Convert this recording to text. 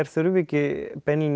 þurfi ekki